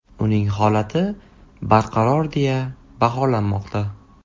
Uning holati barqaror deya baholanmoqda.